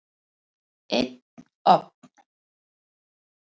Einn ofn.